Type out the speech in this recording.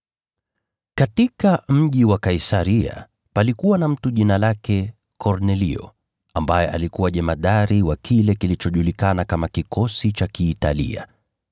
Katika mji wa Kaisaria palikuwa na mtu jina lake Kornelio, ambaye alikuwa jemadari wa kile kilichojulikana kama kikosi cha Kiitalia.